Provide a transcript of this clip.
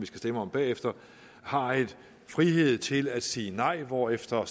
stemme om bagefter har en frihed til at sige nej hvorefter